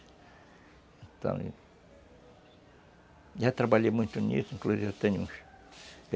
Então... Já trabalhei muito nisso, inclusive eu tenho uns.